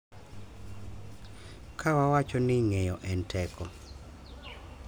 Ka wawacho ni ng’eyo en teko, .